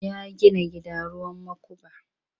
Ya gina gida ruwan makuba.